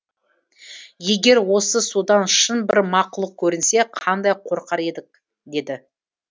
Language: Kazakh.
егер осы судан шын бір мақұлық көрінсе қандай қорқар едік деді